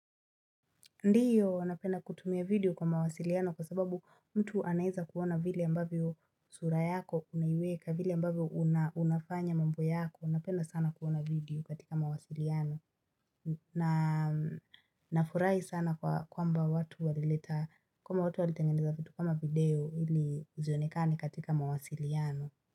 Ndiyo, wanapenda kutumia video kwa mawasiliano kwa sababu mtu anaeza kuona vile ambavyo sura yako unaiweka, vile ambavyo una unafanya mambo yako. Napena sana kuona video katika mawasiliano. Na nafurahi sana kwamba watu walileta, kwamba watu walitengeneza vitu kama video ili zionekane katika mawasiliano.